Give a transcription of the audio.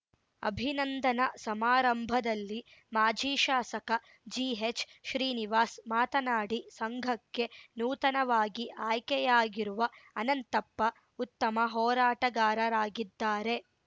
ಅಭಿನಂದನಾ ಸಮಾರಂಭದಲ್ಲಿ ಮಾಜಿ ಶಾಸಕ ಜಿಎಚ್‌ಶ್ರೀನಿವಾಸ್‌ ಮಾತನಾಡಿ ಸಂಘಕ್ಕೆ ನೂತನವಾಗಿ ಆಯ್ಕೆಯಾಗಿರುವ ಅನಂತಪ್ಪ ಉತ್ತಮ ಹೋರಾಟಗಾರರಾಗಿದ್ದಾರೆ